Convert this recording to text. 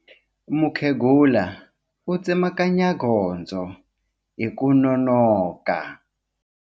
Mukhegula u tsemakanya gondzo hi ku nonoka.